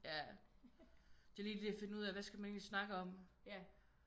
Ja det er lige det at finde ud af hvad skal man egentlig snakke om